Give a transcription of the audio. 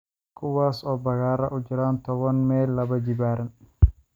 kuwaas oo bakhaarro u jira toban mayl laba jibaaran